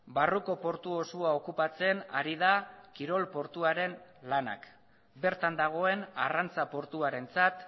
barruko portu osoa okupatzen ari da kirol portuaren lanak bertan dagoen arrantza portuarentzat